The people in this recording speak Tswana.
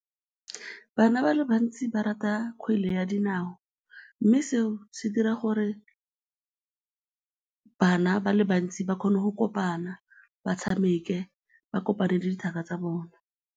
Bana ba le bantsi ba rata kgwele ya dinao mme seo se dira gore bana ba le bantsi ba kgone go kopana, ba tshameke, ba kopane le dithaka tsa bone.